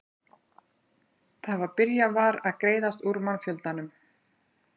Það var byrjað var að greiðast úr mannfjöldanum.